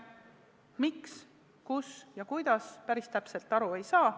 Miks, kus ja kuidas, päris täpselt aru ei saa.